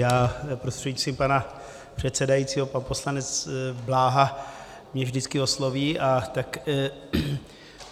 Já prostřednictvím pana předsedajícího - pan poslanec Bláha mě vždycky osloví a tak...